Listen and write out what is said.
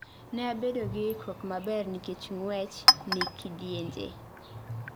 Ne abedo gi ikruok maber nikech ng'wech ni kidienje